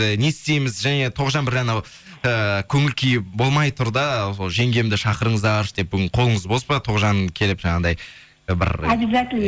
ы не істейміз және тоғжан бір анау ыыы көңіл күйі болмай тұр да сол жеңгемді шақырыңыздаршы деп бүгін қолыңыз бос па тоғжан келіп жаңағыдай бір объязательно